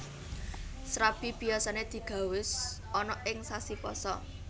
Srabi biyasané digawé ana ing sasi Pasa